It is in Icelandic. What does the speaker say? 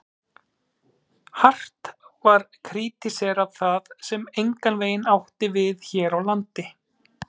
Hart var krítiserað það, sem engan veginn átti við hér á landi.